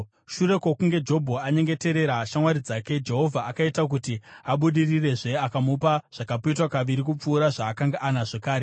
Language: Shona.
Shure kwokunge Jobho anyengeterera shamwari dzake, Jehovha akaita kuti abudirirezve akamupa zvakapetwa kaviri kupfuura zvaakanga anazvo kare.